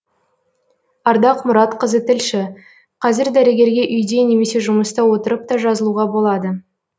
ардақ мұратқызы тілші қазір дәрігерге үйде немесе жұмыста отырып та жазылуға болады